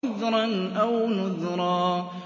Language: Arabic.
عُذْرًا أَوْ نُذْرًا